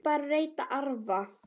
Ekki bara að reyta arfa!